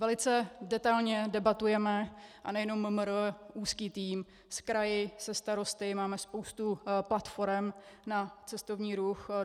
Velice detailně debatujeme, a nejenom MMR úzký tým, s kraji, se starosty, máme spoustu platforem na cestovní ruch.